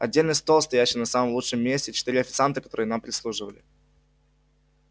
отдельный стол стоящий на самом лучшем месте четыре официанта которые нам прислуживали